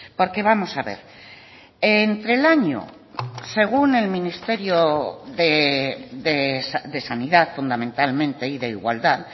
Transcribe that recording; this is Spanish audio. porque vamos a ver entre el año según el ministerio de sanidad fundamentalmente y de igualdad